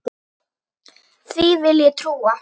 Því vil ég trúa!